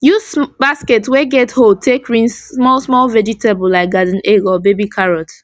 use basket wey get hold take rinse small small vegetable like garden egg or baby carrot